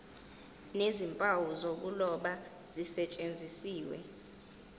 nezimpawu zokuloba zisetshenziswe